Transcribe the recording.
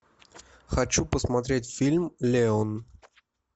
хочу посмотреть фильм леон